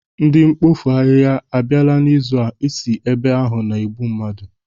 Ndị mpofu ahịha ha abịala n'ịzụ a? Isi si ebe ahụ na-egbụ mmadụ.